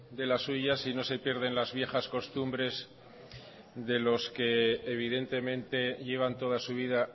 de las suyas y no se pierden las viejas costumbres de los que evidentemente llevan toda su vida